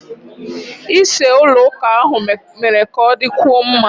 Ise ụlọ ụka ahụ mere ka ọ dịkwuo mma.